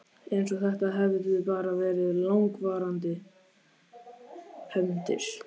Eins og þetta hefðu bara verið langvarandi hefndir.